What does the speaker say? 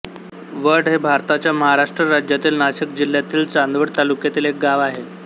वड हे भारताच्या महाराष्ट्र राज्यातील नाशिक जिल्ह्यातील चांदवड तालुक्यातील एक गाव आहे